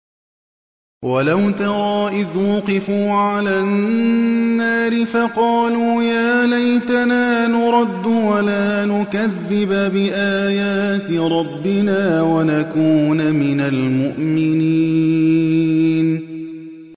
وَلَوْ تَرَىٰ إِذْ وُقِفُوا عَلَى النَّارِ فَقَالُوا يَا لَيْتَنَا نُرَدُّ وَلَا نُكَذِّبَ بِآيَاتِ رَبِّنَا وَنَكُونَ مِنَ الْمُؤْمِنِينَ